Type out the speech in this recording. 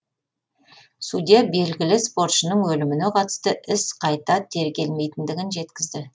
судья белгілі спортшының өліміне қатысты іс қайта тергелмейтіндігін жеткізді